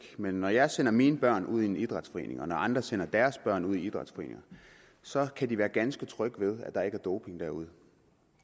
men når jeg sender mine børn ud i en idrætsforening og når andre sender deres børn ud i idrætsforeninger så kan de være ganske trygge ved at der ikke er doping derude